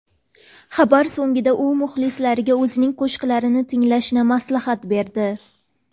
Xabari so‘ngida u muxlislariga o‘zining qo‘shiqlarini tinglashni maslahat berdi.